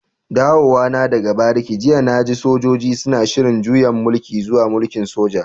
Dawowa na daga bariki jiya na ji sojoji suna shiri'n juyan mulki zuwa mulki'n soja.